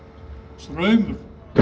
Straumur